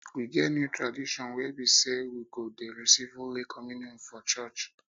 we get new tradition wey be say we go dey receive holy communion for church